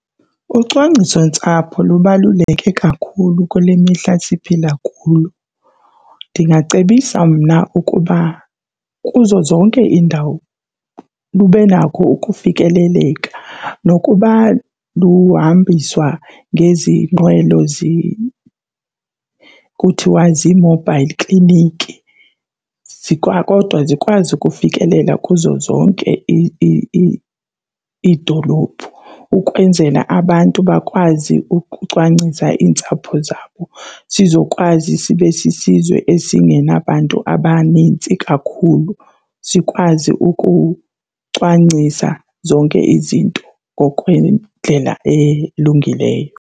Ucwangcisontsapho lubaluleke kakhulu kule mihla siphila kuyo. Ndingacebisa mna ukuba kuzo zonke iindawo lube nako ukufikeleleka nokuba luhambiswa ngezi nqwelo kuthiwa zi-mobile clinic, kodwa zikwazi ukufikelela kuzo zonke iidolophu ukwenzela abantu bakwazi ukucwangcisa iintsapho zabo sizokwazi sibe sisizwe esingenabantu abanintsi kakhulu, sikwazi ukucwangcisa zonke izinto ngokwendlela elungileyo.